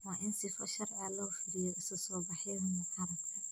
Waa in sifo sharci ah loo fuliyo isu soo baxyada mucaaradka.